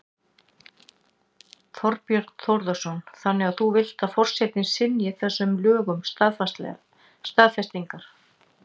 Þorbjörn Þórðarson: Þannig að þú vilt að forsetinn synji þessum lögum staðfestingar?